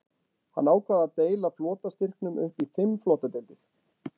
Hann ákvað að deila flotastyrknum upp í fimm flotadeildir.